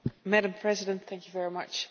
Madam President, thank you very much.